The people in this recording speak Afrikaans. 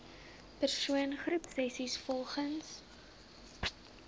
persoon groepsessies volgens